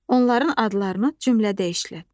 Onların adlarını cümlədə işlət.